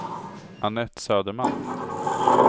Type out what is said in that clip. Anette Söderman